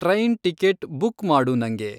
train ticket book ಮಾಡು ನಂಗೆ